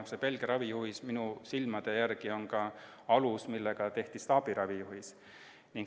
See Belgia ravijuhis on minu hinnangul alus, mille põhjal tehti staabiravijuhis.